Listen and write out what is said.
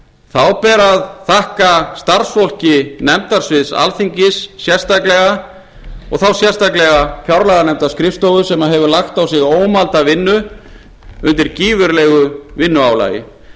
þá ber að þakka starfsfólki nefndasviðs alþingis sérstaklega þá sérstaklega fjárlaganefndarskrifstofu sem hefur lagt á sig ómælda vinnu undir gífurlegu vinnuálagi